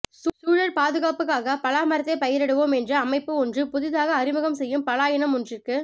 சூழல் பாதுகாப்புக்காக பலா மரத்தை பயிரிடுவோம் என்ற அமைப்பு ஒன்று புதிதாக அறிமுகம் செய்யும் பலா இனம் ஒன்றிற்கு